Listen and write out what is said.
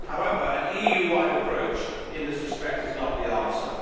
However, an EU wide approach in this respect is not the answer.